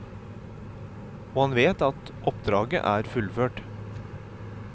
Og han vet at oppdraget er fullført.